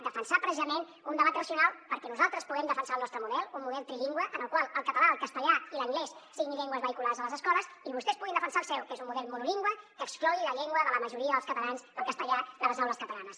defensar precisament un debat racional perquè nosaltres puguem defensar el nostre model un model trilingüe en el qual el català el castellà i l’anglès siguin llengües vehiculars a les escoles i vostès puguin defensar el seu que és un model monolingüe que exclogui la llengua de la majoria dels catalans el castellà de les aules catalanes